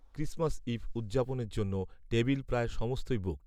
Christmas eve উদযাপনের জন্য table প্রায় সমস্তই বুকড